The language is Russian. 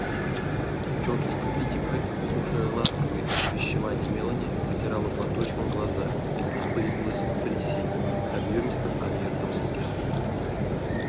тётушка питтипэт слушая ласковые увещевания мелани вытирала платочком глаза и тут появилась присей с объёмистым конвертом в руке